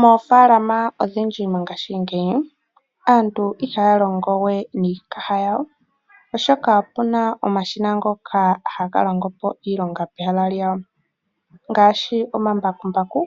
Moofalama odhindji mongashingeyi aantu ihaya longo we niikaha yawo oshoka opu na omashina ngoka haga longo po iilonga pehala lyawo. Ngaashi omambakumbaku